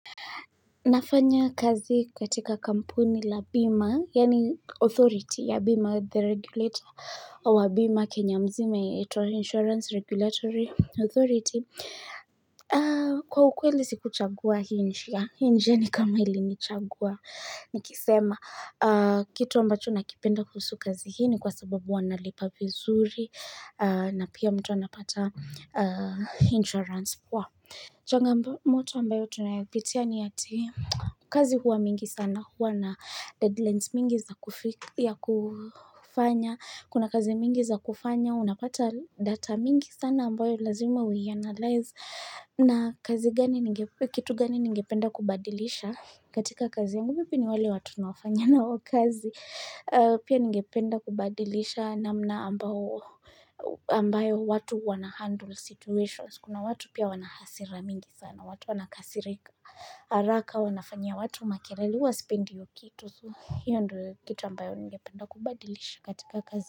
Nafanya kazi katika kampuni la BIMA, yani authority ya BIMA, the regulator wa BIMA, Kenya mzima, inaitwa Insurance Regulatory Authority. Kwa ukweli siku chagua hii njia, hii njia ni kama ilinichagua. Nikisema, kitu ambacho nakipenda kuhusu kazi hii ni kwa sababu wanalipa vizuri na pia mtu anapata insurance poa. Changamoto ambayo tunayopitia ni ati kazi huwa mingi sana, huwa na deadlines mingi za kufanya, kuna kazi mingi za kufanya, unapata data mingi sana ambayo lazima uianalyze na kazi gani, kitu gani ningependa kubadilisha. Katika kazi yangu vipi ni wale watu tunao fanya nao kazi Pia ningependa kubadilisha namna ambao ambayo watu wana handle situations Kuna watu pia wanahasira mingi sana watu wanakasirika haraka wanafanyia watu makelele huwa sipendi hio kitu hiyo ndio kitu ambayo ningependa kubadilisha katika kazi.